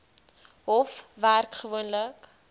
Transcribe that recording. hof werk gewoonlik